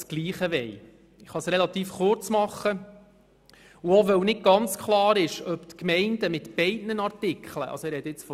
Wir stellen den Antrag auf Streichung sicherheitshalber für beide Artikel, also sowohl für Artikel 13a als auch für Artikel 13b.